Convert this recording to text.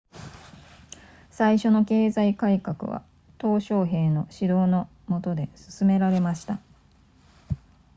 最初の経済改革は鄧小平の指導の下で進められました